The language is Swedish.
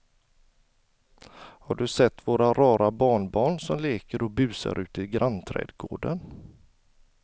Har du sett våra rara barnbarn som leker och busar ute i grannträdgården!